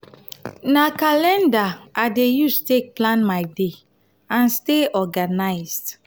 na calendar i dey use take plan my day and stay organized.